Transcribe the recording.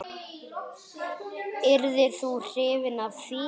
Yrðir þú hrifinn af því?